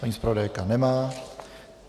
Paní zpravodajka nemá.